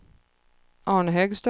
Arne Högström